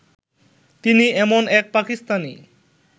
তিনি এমন এক পাকিস্তানি